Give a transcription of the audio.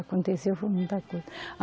Aconteceu, foi muita coisa. Ah